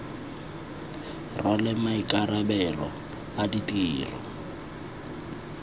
rwale maikarabelo a ditiro tsa